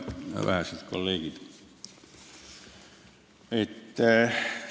Head vähesed kolleegid!